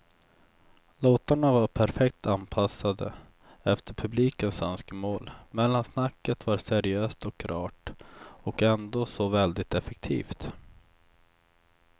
Låtarna var perfekt anpassade efter publikens önskemål, mellansnacket var seriöst och rart och ändå så väldigt effektivt.